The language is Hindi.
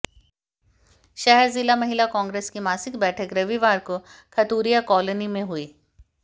शहर जिला महिला कांग्रेस की मासिक बैठक रविवार को खतुरिया कॉलोनी में हुई